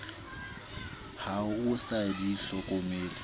ha o sa di hlokomele